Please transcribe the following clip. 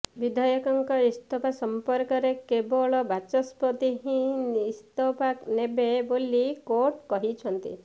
ବିଧାୟକଙ୍କ ଇସ୍ତଫା ସଂପର୍କରେ କେବଳ ବାଚସ୍ପତି ହିଁ ଇସ୍ତଫା ନେବେ ବୋଲି କୋର୍ଟ କହିଛନ୍ତି